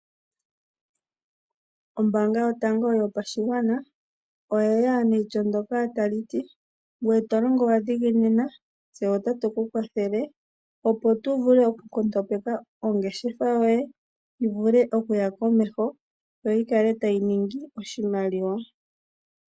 Ombaanga yotango yopashigwana oya ya neityo ndoka tali ti: "Ngoye to longo wa dhiginina tse otatu ku kwathele, opo tu vule oku nkondombeka ongeshefa yoye. Yi vule oku ya komeho yo yi kale tayi ningi oshimaliwa".